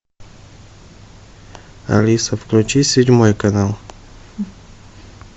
алиса включи седьмой канал